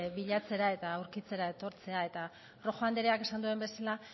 bilatzera eta aurkitzera etortzea eta rojo andreak esan duen bezala